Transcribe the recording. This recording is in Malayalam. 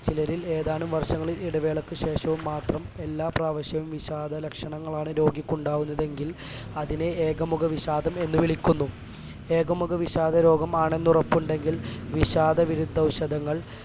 ചിലരിൽ ഏതാനും വർഷങ്ങളിൽ ഇടവേളക്ക് ശേഷവും മാത്രം എല്ലാ പ്രാവശ്യവും വിഷാദ ലക്ഷണങ്ങളാണ് രോഗിക്കുണ്ടാവുന്നത് എങ്കിൽ അതിനെ ഏകമുഖവിഷാദം എന്ന് വിളിക്കുന്നു ഏകമുഖവിഷാദം രോഗമാണെന്ന് ഉറപ്പുണ്ടെങ്കിൽ വിഷാദവിരുദ്ധ ഔഷധങ്ങൾ